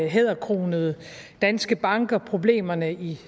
hæderkronede danske banker problemerne i